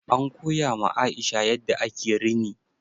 An koya ma Aisha yadda ake rini.